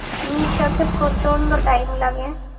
মিশোতে প্রচন্ড time লাগে